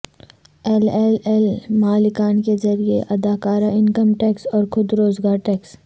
L L L مالکان کے ذریعہ ادا کردہ انکم ٹیکس اور خود روزگار ٹیکس